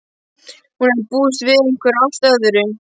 Hún hafði búist við einhverju allt öðru.